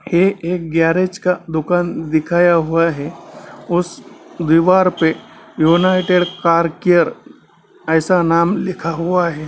ये एक गैरेज का दुकान दिखाया हुआ है उस दिवार पे यूनाइटेड कार केयर ऐसा नाम लिखा हुआ है।